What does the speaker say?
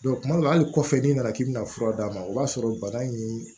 tuma dɔ la hali kɔfɛ n'i nana k'i bɛna fura d'a ma o b'a sɔrɔ bana in